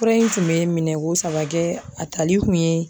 Fura in tun bɛ minɛko saba kɛ a tali kun ye